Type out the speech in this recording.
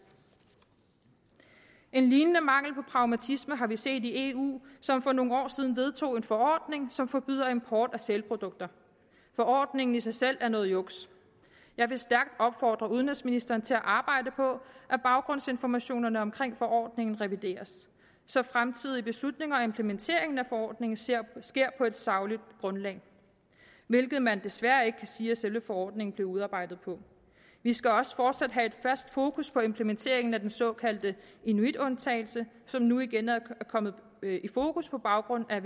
en lignende mangel på pragmatisme har vi set i eu som for nogle år siden vedtog en forordning som forbyder import af sælprodukter forordningen i sig selv er noget juks jeg vil stærkt opfordre udenrigsministeren til at arbejde på at baggrundsinformationerne om forordningen revideres så fremtidige beslutninger og implementeringen af forordningen sker på et sagligt grundlag hvilket man desværre ikke kan sige at selve forordningen blev udarbejdet på vi skal også fortsat have et fast fokus på implementeringen af den såkaldte inuitundtagelse som nu igen er kommet i fokus på grund af